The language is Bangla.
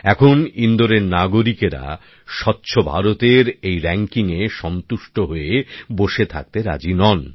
এখন ইন্দোরের নাগরিকরা স্বচ্ছ ভারতের এই র্যাংকিং এ সন্তুষ্ট হয়ে বসে থাকতে রাজি নন